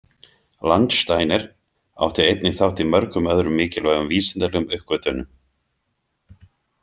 Landsteiner átti einnig þátt í mörgum öðrum mikilvægum vísindalegum uppgötvunum.